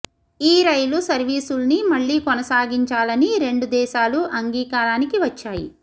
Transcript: ఈ రైలు సర్వీసుల్ని మళ్లీ కొనసాగించాలని రెండు దేశాలూ అంగీకారానికి వచ్చాయి